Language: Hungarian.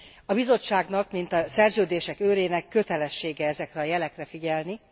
A Bizottságnak, mint a szerződések őrének kötelessége ezekre a jelekre figyelni.